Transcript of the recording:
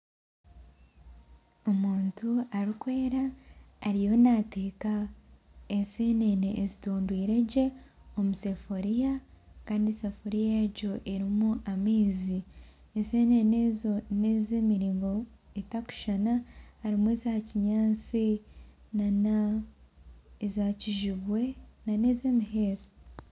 Omuntu arikwera ariyo naateka ensenene ezitondwire gye omusefuriya Kandi esafuriya egyo erimu amaizi ensenene ezo n'ezemiringo etarikushushana harimu eza kinyatsi nana eza kijubwe nana ez'omuheesi